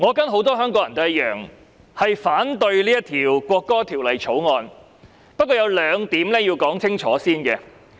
我跟很多香港人一樣，反對《國歌條例草案》，但我有兩點必須先清楚說明。